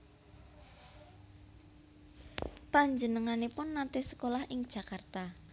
Panjenenganipun naté sekolah ing Jakarta